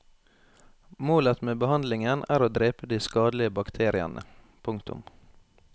Målet med behandlingen er å drepe de skadelige bakteriene. punktum